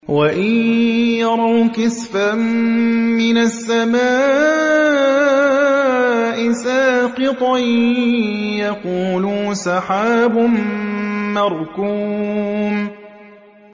وَإِن يَرَوْا كِسْفًا مِّنَ السَّمَاءِ سَاقِطًا يَقُولُوا سَحَابٌ مَّرْكُومٌ